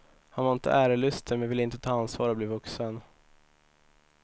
Han var inte ärelysten men ville inte ta ansvar och bli vuxen.